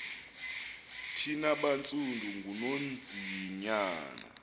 thina bantsundu ngunonzinyana